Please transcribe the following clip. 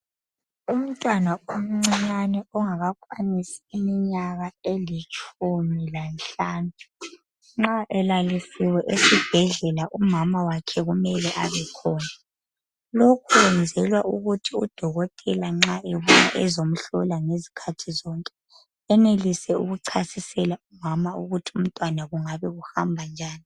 Umntwana imncinyane ongakakwanisi iminyaka elitshumi lanhlanu nxa elalisiwe, esibhedlela, umama wakhe, kumele abekhona, isikhathi Lokhu kwenzelwa ukuthi udokotela nxa ebuya ezemhlola ngezikhathi zonke, enelise ukuchasisela umama, ukuthi umntwana kungabe kuhamba njani,